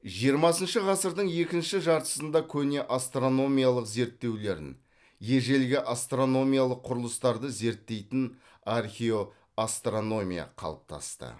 жиырмасыншы ғасырдың екінші жартысында көне астрономиялық зерттеулерін ежелгі астрономиялық құрылыстарды зерттейтін археоастрономия қалыптасты